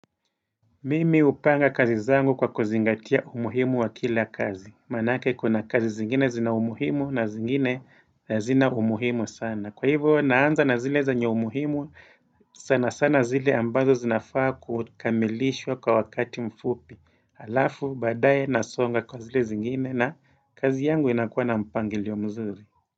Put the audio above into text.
Mimi hupanga kazi zangu kwa kuzingatia umuhimu wa kila kazi. Manake kuna kazi zingine zina umuhimu na zingine hazina umuhimu sana. Kwa hivyo naanza na zile zenyo umuhimu sana sana zile ambazo zinafaa kukamilishwa kwa wakati mfupi. Halafu baadaye na songa kwa zile zingine na kazi yangu inakuwa na mpangilio mzuri.